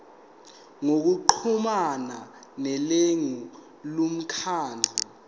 ngokuxhumana nelungu lomkhandlu